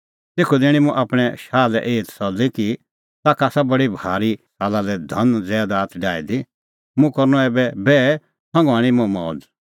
तेखअ दैणीं मुंह आपणैं शाह लै एही दसल्ली कि ताखा आसा बडी भारी साला लै धन ज़ैदात डाही दी मुंह करनअ ऐबै बैह संघा हणीं मुंह मौज़